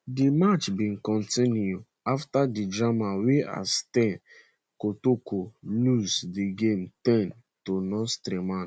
di match bin kontinu afta di drama wia asante kotoko lose di game ten to nsoatreman